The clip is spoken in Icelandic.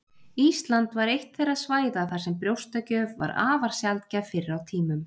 Ísland var eitt þeirra svæða þar sem brjóstagjöf var afar sjaldgæf fyrr á tímum.